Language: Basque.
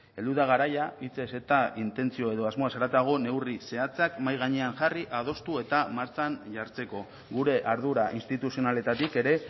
heldu da garaia hitzez eta intentzio edo asmoez haratago neurri zehatzak mahai gainera jarri adostu eta martxan jartzeko gure ardura instituzionaletatik ere